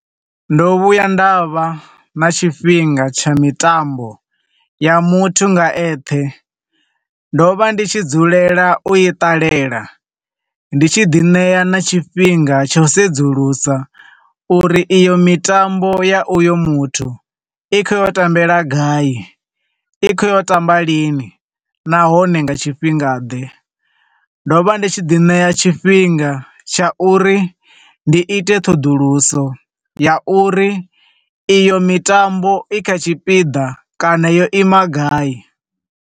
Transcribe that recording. Ndo vhuya nda vha na tshifhinga tsha mitambo ya muthu nga eṱhe. Ndo vha ndi tshi dzulela u i ṱalela, ndi tshi ḓi ṋea na tshifhinga tsha u sedzulusa uri iyo mitambo ya uyo muthu i khou yo tambela gai, i khoyo tamba lini, nahone nga tshifhingaḓe. Ndo vha ndi tshi ḓi ṋea tshifhinga tsha uri ndi ite ṱhoḓuluso ya uri iyo mitambo i kha tshipiḓa kana yo ima gai.